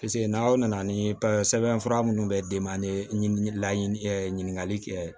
n'aw nana ni sɛbɛnfura minnu bɛ d'i ma ni laɲinin kɛ